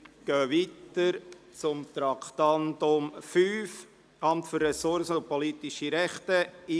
Wir kommen zum Traktandum 5, «Amt für Ressourcen und politische Rechte […